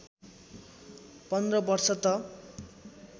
१५ वर्ष त